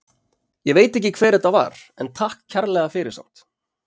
Ég veit ekki hver þetta var en takk kærlega fyrir samt.